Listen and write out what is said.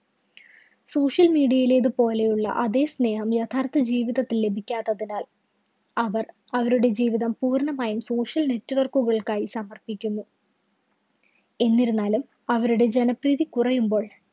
social media യിലേതു പോലെയുള്ള അതെ സ്നേഹം യഥാര്‍ത്ഥ ജീവിതത്തില്‍ ലഭിക്കാത്തതിനാല്‍ അവര്‍ അവരുടെ ജീവിതം പൂര്‍ണ്ണമായും social network കള്‍ക്കായി സമര്‍പ്പിക്കുന്നു. എന്നിരുന്നാലും അവരുടെ ജനപ്രീതി കുറയുമ്പോൾ